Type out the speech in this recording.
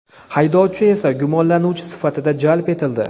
haydovchi esa gumonlanuvchi sifatida jalb etildi.